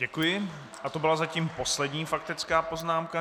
Děkuji a to byla zatím poslední faktická poznámka.